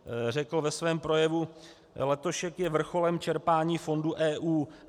Řekl ve svém projevu: Letošek je vrcholem čerpání fondů EU.